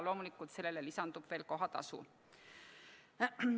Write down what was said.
Loomulikult sellele lisandub veel kohatasu.